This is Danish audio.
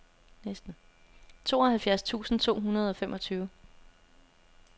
tooghalvfjerds tusind to hundrede og femogtyve